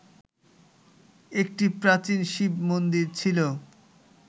একটি প্রাচীন শিব-মন্দির ছিল